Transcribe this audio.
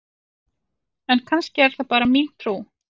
en kannski er það bara mín trú!